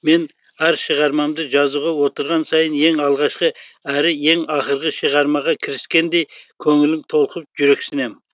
мен әр шығармамды жазуға отырған сайын ең алғашқы әрі ең ақырғы шығармаға кіріскендей көңілім толқып жүрексінем